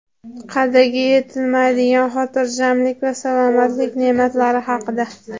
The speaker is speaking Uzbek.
Qadriga yetilmaydigan xotirjamlik va salomatlik ne’matlari haqida.